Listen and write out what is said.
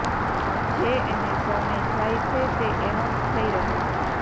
જે એને શરણે જાય છે તે એનો જ થઈ રહે છે